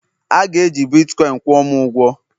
A ga-eji Bitkọin kwụọ m ụgwọ!